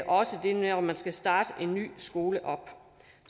også det med om man skal starte en ny skole op